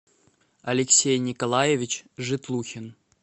алексей николаевич житлухин